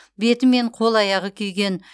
беті мен қол аяғы күйген